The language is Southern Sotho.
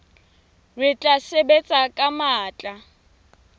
re tla sebetsa ka matla